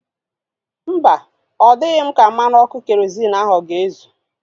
Mba, ọ dịghị m ka mmanụ ọkụ kerozịn ahu ọ ga-ezu